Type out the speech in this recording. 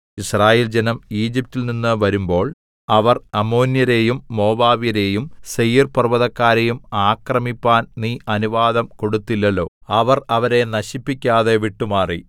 യിസ്രായേൽജനം ഈജിപ്റ്റിൽ നിന്ന് വരുമ്പോൾ അവർ അമ്മോന്യരേയും മോവാബ്യരേയും സേയീർപർവ്വതക്കാരെയും ആക്രമിപ്പാൻ നീ അനുവാദം കൊടുത്തില്ലല്ലോ അവർ അവരെ നശിപ്പിക്കാതെ വിട്ടുമാറി